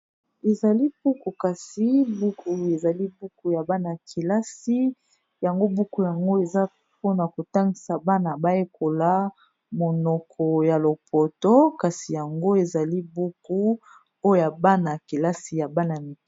Ezali buku kasi buku ezali buku ya bana yakelasi yango buku yango, eza mpona kotangisa bana bayekola monoko ya lopoto kasi yango ezali buku oya bana ya kelasi ya bana mik.